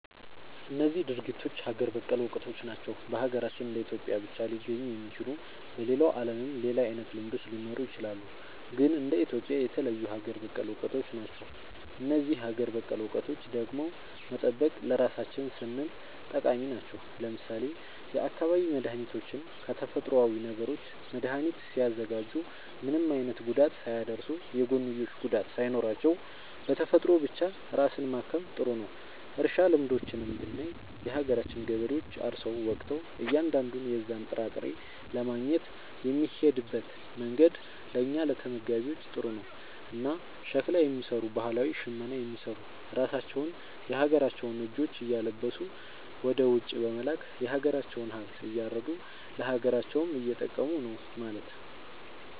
እነዚህ ድርጊቶች ሀገር በቀል እውቀቶች ናቸው። በሀገራችን እንደ ኢትዮጵያ ብቻ ሊገኙ የሚችሉ። በሌላው ዓለምም ሌላ አይነት ልምዶች ሊኖሩ ይችላሉ። ግን እንደ ኢትዮጵያ የተለዩ ሀገር በቀል እውቀቶች ናቸው። እነዚህን ሀገር በቀል እውቀቶች ደግሞ መጠበቅ ለራሳችን ስንል ጠቃሚ ናቸው። ለምሳሌ የአካባቢ መድኃኒቶችን ከተፈጥሮዊ ነገሮች መድኃኒት ሲያዘጋጁ ምንም አይነት ጉዳት ሳያደርሱ፣ የጎንዮሽ ጉዳት ሳይኖራቸው፣ በተፈጥሮ ብቻ ራስን ማከም ጥሩ ነዉ። እርሻ ልምዶችንም ብናይ የሀገራችን ገበሬዎች አርሰው ወቅተው እያንዳንዱን የዛን ጥራጥሬ ለማግኘት የሚሄድበት መንገድ ለእኛ ለተመጋቢዎች ጥሩ ነው። እና ሸክላ የሚሰሩ ባህላዊ ሽመና የሚሰሩ ራሳቸውን የሀገራቸውን ልጆች እያለበሱ ወደ ውጪ በመላክ የሀገራቸውን ሃብት እያረዱ ለሀገራቸውም እየጠቀሙ ነው ማለት።